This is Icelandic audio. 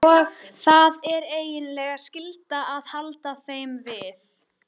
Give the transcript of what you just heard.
Mundi ekki heldur hvaðan hún var til hennar komin.